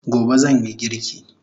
Gobe zanyi girki